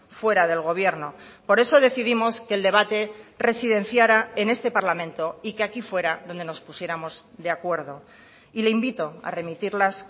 fuera del gobierno por eso decidimos que el debate residenciara en este parlamento y que aquí fuera donde nos pusiéramos de acuerdo y le invito a remitirlas